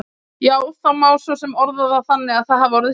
Já, það má svo sem orða það þannig að það hafi orðið slys.